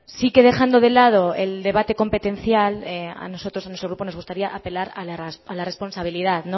sí que dejando de lado el debate competencial a nosotros en nuestro grupo nos gustaría apelar a la responsabilidad